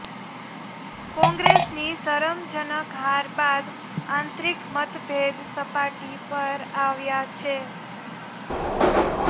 કોંગ્રેસની શરમજનક હાર બાદ આંતરિક મતભેદ સપાટી પર આવ્યા છે